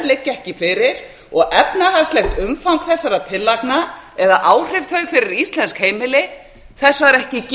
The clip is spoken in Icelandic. liggja ekki fyrir og efnahagslegs umfangs þessara tillagna eða áhrifa þeirra fyrir íslensk heimili var ekki